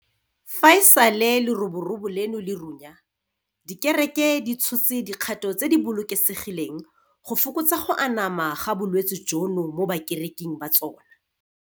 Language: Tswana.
Fa e sale leroborobo leno le runya, dikereke di tshotse dikgato tse di bolokesegileng go fokotsa go anama ga bolwetse jono mo bakereking ba tsona.